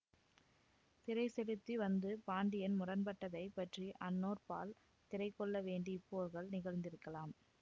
திரை செலுத்தி வந்து பாண்டியன் முரண்பட்டதை பற்றி அன்னோர் பால் திரை கொள்ள வேண்டி இப்போர்கள் நிகழ்ந்திருக்கலாம்